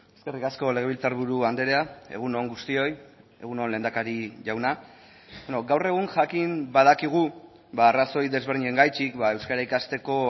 eskerrik asko legebiltzarburu andrea egun on guztioi egun on lehendakari jauna gaur egun jakin badakigu arrazoi desberdinengatik euskara ikasteko